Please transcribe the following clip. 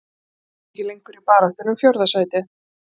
Ég held að við séum ekki lengur í baráttunni um fjórða sætið.